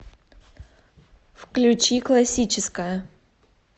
включи классическая